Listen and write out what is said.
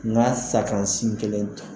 N y'a safɔn si kelen tu